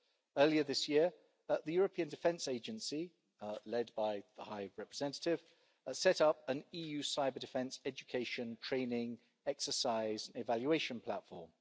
Earlier this year, the European Defence Agency, led by the High Representative, set up an EU cyber-defence, education and training exercise evaluation platform.